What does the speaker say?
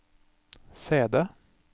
CD